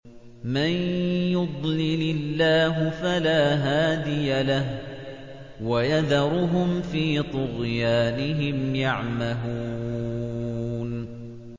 مَن يُضْلِلِ اللَّهُ فَلَا هَادِيَ لَهُ ۚ وَيَذَرُهُمْ فِي طُغْيَانِهِمْ يَعْمَهُونَ